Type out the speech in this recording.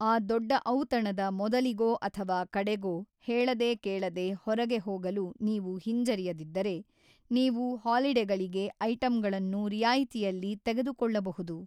ಆ ದೊಡ್ಡ ಔತಣದ ಮೊದಲಿಗೊ ಅಥವಾ ಕಡೆಗೊ ಹೇಳದೆ ಕೇಳದೆ ಹೊರಗೆ ಹೋಗಲು ನೀವು ಹಿಂಜರಿಯದಿದ್ದರೆ, ನೀವು ಹಾಲಿಡೇಗಳಿಗೆ ಐಟಂಗಳನ್ನು ರಿಯಾಯಿತಿಯಲ್ಲಿ ತೆಗೆದುಕೊಳ್ಳಬಹುದು.